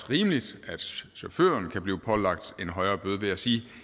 rimeligt at chaufføren kan blive pålagt en højere bøde vil jeg sige